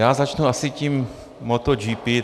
Já začnu asi tím MotoGP.